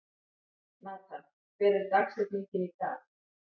Natan, hver er dagsetningin í dag?